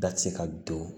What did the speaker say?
Da tɛ se ka don